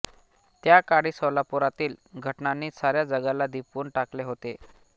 त्याकाळी सोलापुरातील घटनांनी साऱ्या जगाला दिपवून टाकले होते